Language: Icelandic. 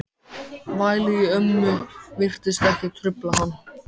Vælið í ömmu virtist ekki trufla hann.